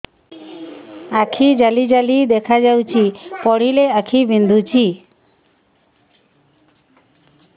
ଆଖି ଜାଲି ଜାଲି ଦେଖାଯାଉଛି ପଢିଲେ ଆଖି ବିନ୍ଧୁଛି